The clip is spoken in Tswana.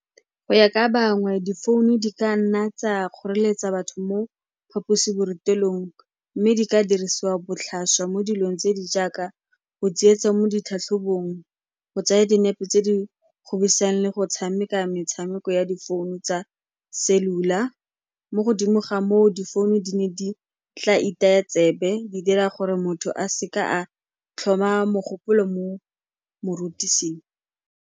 Go ya ka bangwe difounu di ka nna tsa kgoreletsa batho mo phaposiborutelong mme di ka dirisiwa botlhaswa mo dilong tse di jaaka go tsietsa mo ditlhatlhobong, go tsaya dinepe tse di le go tshameka metshameko ya difounu tsa cellular. Mo godimo ga moo difounu di ne di tla itaya tsebe, di dira gore motho a se ka a tlhoma mogopolo mo morutiseng.